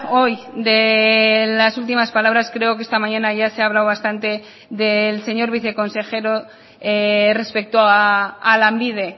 hoy delas últimas palabras creo que esta mañana ya se ha hablado bastante del señor viceconsejero respecto a lanbide